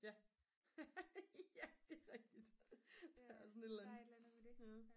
ja det er rigtigt der er sådan et eller andet